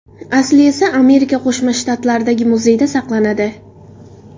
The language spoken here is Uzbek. Asli esa Amerika Qo‘shma Shtatlaridagi muzeyda saqlanadi.